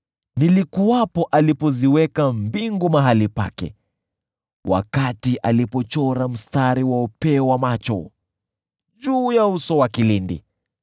Nilikuwepo alipoziweka mbingu mahali pake, wakati alichora mstari wa upeo wa macho juu ya uso wa kilindi,